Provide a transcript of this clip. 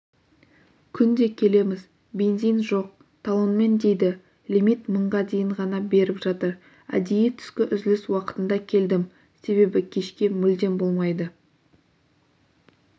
күнде келеміз бензин жоқ талонмен дейді лимит мыңға дейін ғана беріп жатыр әдейі түскі үзіліс уақытында келдім себебі кешке мүлдем болмайды